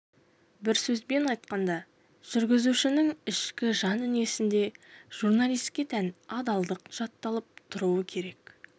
бір сөзбен айтқанда жүргізушінің ішкі жан-дүниесінде журналистке тән адалдық жатталып тұруы керек